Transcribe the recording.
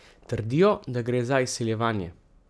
Trdijo, da gre za izsiljevanje.